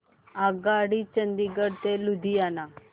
आगगाडी चंदिगड ते लुधियाना